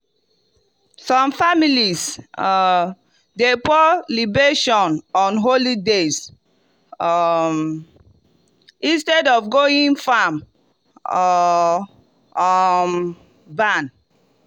some families um dey pour libation on holy days um instead of going farm or um barn.